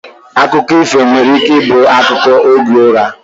Akụkọ ifo nwere ike ibu akụkọ oge ụra